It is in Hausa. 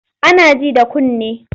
Ana ji da kunne.